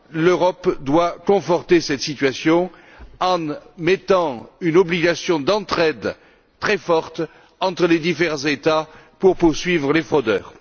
L'Europe doit conforter cette situation en imposant une obligation d'entraide très forte entre les divers États pour poursuivre les fraudeurs.